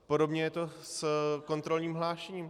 Podobně je to s kontrolním hlášením.